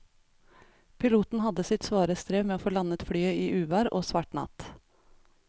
Piloten hadde sitt svare strev med å få landet flyet i uvær og svart natt.